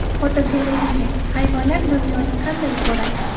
Fotogalereya: Hayvonlar dunyoni qanday ko‘radi?.